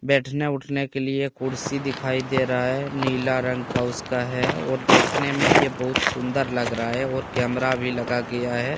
बैठने उठने के लिए कुर्सी दिखाई दे रहा है नीला रंग का उसका है और देखने मे यह बहुत सुंदर लग रहा है और कैमरा भी लगा गया है।